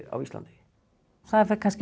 á Íslandi það fer